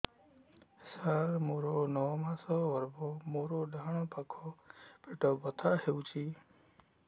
ସାର ମୋର ନଅ ମାସ ଗର୍ଭ ମୋର ଡାହାଣ ପାଖ ପେଟ ବଥା ହେଉଛି